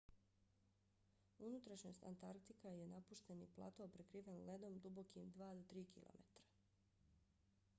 unutrašnjost antarktika je napušteni plato prekriven ledom dubokim 2-3 km